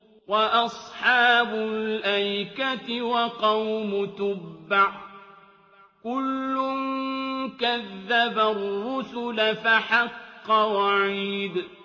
وَأَصْحَابُ الْأَيْكَةِ وَقَوْمُ تُبَّعٍ ۚ كُلٌّ كَذَّبَ الرُّسُلَ فَحَقَّ وَعِيدِ